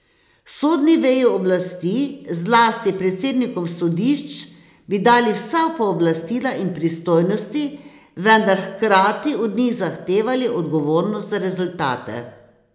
Sodni veji oblasti, zlasti predsednikom sodišč, bi dali vsa pooblastila in pristojnosti, vendar hkrati od njih zahtevali odgovornost za rezultate.